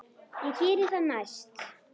Ég geri það næst.